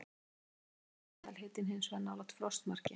Yfir hásumarið er meðalhitinn hins vegar nálægt frostmarki.